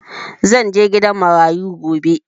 Zan je gidan marayu gobe